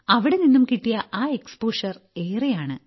അവിടെനിന്നും കിട്ടിയ ആ എക്സ്പോഷർ ഏറെയാണ്